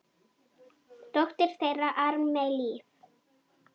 Dóttir þeirra: Ármey Líf.